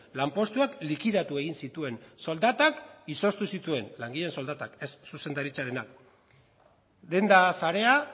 lanpostuak likidatu egin zituen soldatak izoztu zituen langileen soldatak ez zuzendaritzarenak denda sarea